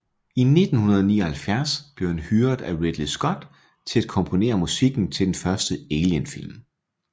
I 1979 blev han hyret af Ridley Scott til at komponere musikken til den første Alien film